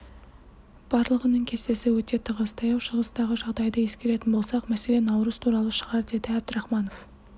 барлығының кестесі өте тығыз таяу шығыстағы жағдайды ескеретін болсақ мәселе наурыз туралы шығар деді әбдрахманов